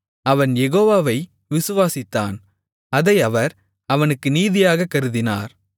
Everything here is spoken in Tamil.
அவன் யெகோவாவை விசுவாசித்தான் அதை அவர் அவனுக்கு நீதியாகக் கருதினார்